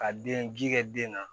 Ka den ji kɛ den na